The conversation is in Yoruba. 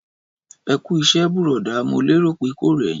Ẹkú iṣẹ burọda, mo lérò pé kò rẹ yin.